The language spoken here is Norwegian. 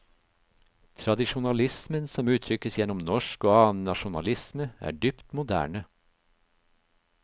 Tradisjonalismen som uttrykkes gjennom norsk og annen nasjonalisme, er dypt moderne.